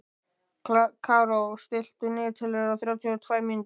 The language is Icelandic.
Karó, stilltu niðurteljara á þrjátíu og tvær mínútur.